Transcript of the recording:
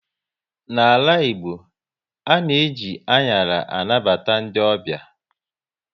N'ala Igbo, ana eji anyara anabata ndị ọbịa